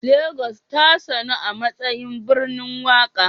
Lagos tasanu amatsayin birnin waƙa